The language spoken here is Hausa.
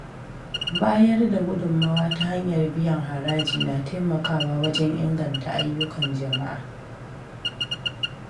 Bayar da gudummawa ta hanyar biyan haraji na taimakawa wajen inganta ayyukan jama’a.